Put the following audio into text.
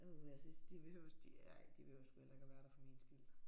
Åh jeg synes de behøves de ej de behøves sgu heller ikke at være der for min skyld